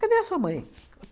Cadê a sua mãe?